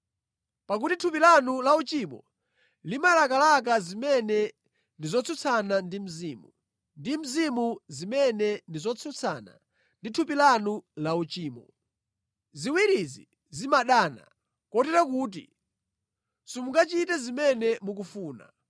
Pakuti thupi lanu la uchimo limalakalaka zimene ndi zotsutsana ndi Mzimu, ndi Mzimu zimene ndi zotsutsana ndi thupi lanu la uchimo. Ziwirizi zimadana, kotero kuti simungachite zimene mukufuna.